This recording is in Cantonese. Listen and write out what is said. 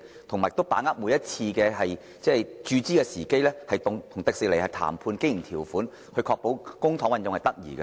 政府亦應把握每次注資的時機，與迪士尼談判經營條款，確保公帑運用得宜。